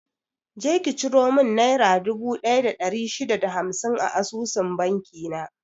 Je ki ciro mun nera dubu ɗaya da ɗari shida da hamsin a asusun banki na!